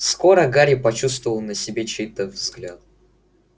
скоро гарри почувствовал на себе чей-то взгляд